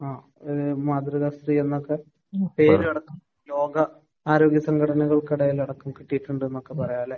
ആഹ്. ഏഹ് മാതൃകാസ്ത്രീയെന്നൊക്കെ പേരെടുത്ത് ലോകാര്യോകസംഘടനക്കിടയിൽ അടക്കം കിട്ടിയിട്ടുണ്ടെന്ന് നമുക്ക് പറയാം. അല്ലെ?